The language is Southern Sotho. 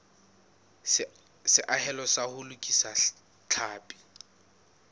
seahelo sa ho lokisa tlhapi